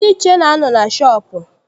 Ndị nche na-anọ na shọọpụ.